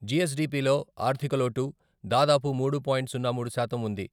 G S D P లో ఆర్థిక లోటు దాదాపు మూడు పాయింట్ సున్నా మూడు శాతం వుంది.